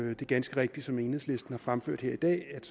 er ganske rigtigt som enhedslisten har fremført her i dag at